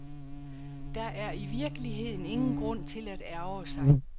Der er i virkeligheden ingen grund til at ærgre sig.